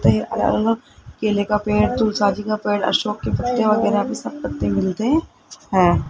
कई अलग अलग केले का पेड़ तुलसा जी का पेड़ अशोक के पत्ते वगैरा सब पत्ते मिलते है।